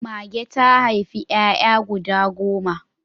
Mage ta haifi 'ya'ya guda goma.